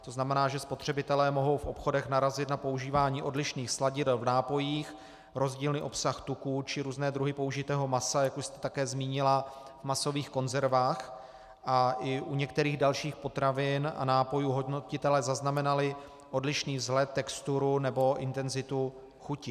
To znamená, že spotřebitelé mohou v obchodech narazit na používání odlišných sladidel v nápojích, rozdílný obsah tuku či různé druhy použitého masa, jak už jste také zmínila, v masových konzervách, a i u některých dalších potravin a nápojů hodnotitelé zaznamenali odlišný vzhled, texturu nebo intenzitu chuti.